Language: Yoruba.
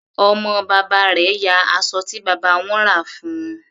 Ọmọ bàbá rẹ̀ ya aṣọ tí bàbá wọn rà fún un.